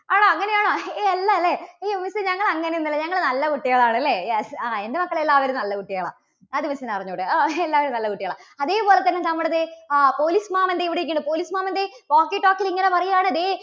ആണോ അങ്ങനെയാണോ? ഏയ് അല്ല അല്ലേ? ഏയ് miss എ ഞങ്ങൾ അങ്ങനെയൊന്നുമല്ല ഞങ്ങൾ നല്ല കുട്ടികളാണ് അല്ലേ? yes ആ എന്റെ മക്കള് എല്ലാവരും നല്ല കുട്ടികളാ. അത് miss ന് അറിഞ്ഞു കൂടെ? ഓഹ് എല്ലാവരും നല്ല കുട്ടികളാ. അതേപോലെതന്നെ നമ്മുടെ ദേ ആ police മാമൻ ദേ ഇവിടെ ഒക്കെയുണ്ട്. police മാമൻറെ walkie talkie യിൽ ഇങ്ങനെ പറയുകയാണ് ദേ